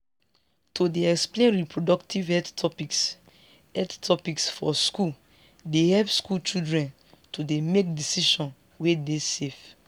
to dey explain reproductive health topics health topics for schools dey help school children to dey make decisions wey dey safe